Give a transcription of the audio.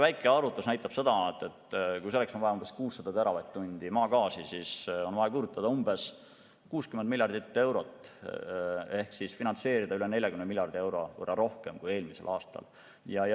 Väike arvutus näitab, et kui selleks on vaja vähemalt 600 teravatt-tundi maagaasi, siis on tarvis 60 miljardit eurot ehk siis finantseerida üle 40 miljardi euro võrra rohkem kui eelmisel aastal.